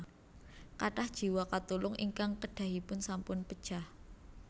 Kathah jiwa katulung ingkang kedahipun sampun pejah